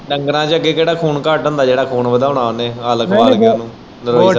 ਡੰਗਰਾਂ ਚ ਅੱਗੇ ਕਹਿੜਾ ਖੂਨ ਘੱਟ ਹੁੰਦਾ ਜਿਹੜਾ ਖ਼ੂਨ ਘੱਟ ਹੁੰਦਾ ਜਿਹੜਾ ਖ਼ੂਨ ਵਧਾਉਣਾ ਉਹਨੇ ਆ ਲੈ ਖਾਣ-ਪੀਣ ਨੂੰ।